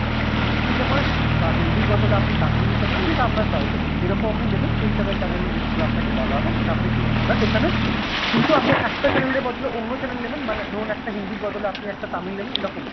English দিতে পারেন বা হিন্দির বদলে আপনি তামিল দিতে পারেন যেটা আপনার choice able যেরকম আপনি নেবেন সেই হিসেবে channel এর list গুলা আপনাকে বলা হবে সেটা আপনি পেয়ে যাবেন but এখানে কিন্তু আপনি একটা channel এর বদলে অন্য channel নেবেন মানে ধরুন একটা হিন্দির বদলে আপনি একটা তামিল নেবেন এরকম নয়,